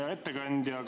Hea ettekandja!